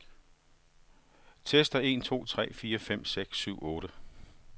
Tester en to tre fire fem seks syv otte.